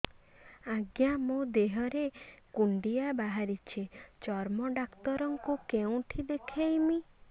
ଆଜ୍ଞା ମୋ ଦେହ ରେ କୁଣ୍ଡିଆ ବାହାରିଛି ଚର୍ମ ଡାକ୍ତର ଙ୍କୁ କେଉଁଠି ଦେଖେଇମି